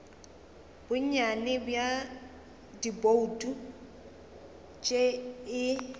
bonnyane bja dibouto tše e